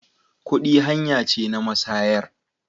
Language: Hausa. Kudi hanya ce na masayar.